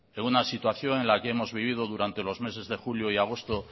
en una situación en la que hemos vivido durante los meses de julio y agosto